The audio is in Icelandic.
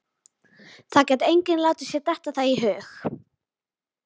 Sjáðu þegar ég sker mig á púls, sjáðu, Tóti ljóti.